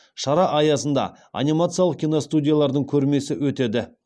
шара аясында анимациялық киностудиялардың көрмесі өтеді